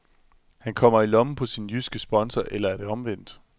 Han kommer i lommen på sin jyske sponsor eller er det omvendt?